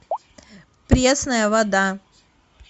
пресная вода